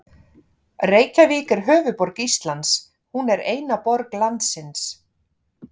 Reykjavík er höfuðborg Íslands. Hún er eina borg landsins.